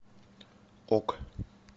ок